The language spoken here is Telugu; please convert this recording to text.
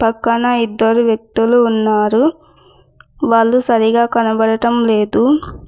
పక్కన ఇద్దరు వ్యక్తులు ఉన్నారు వాళ్ళు సరిగా కనబడటం లేదు.